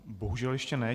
Bohužel ještě ne.